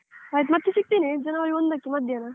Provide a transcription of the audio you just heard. ಆಯ್ತು ಮತ್ತೆ ಸಿಗ್ತೇನೆ January ಒಂದಕ್ಕೆ ಮಧ್ಯಾಹ್ನ.